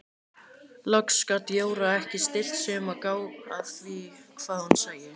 Loks gat Jóra ekki stillt sig um að gá að því hvað hún sæi.